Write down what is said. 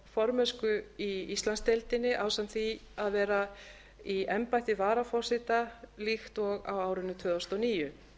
formennsku í íslandsdeildinni ásamt því að vera í embætti varaforseta líkt og á árinu tvö þúsund og níu